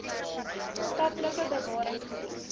skaplike bewarings gebied